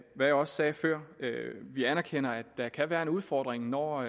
hvad jeg også sagde før vi anerkender at der kan være en udfordring når